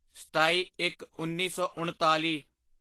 ਸਤਾਈਇੱਕਉੱਨੀ ਸੌ ਉਣਤਾਲੀ